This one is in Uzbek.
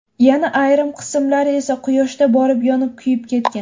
Yana ayrim qismlari esa Quyoshda borib yonib-kuyib ketgan.